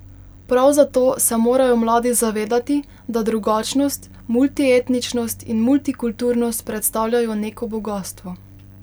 Prav zato se morajo mladi zavedati, da drugačnost, multietničnost in multikulturnost predstavljajo neko bogastvo.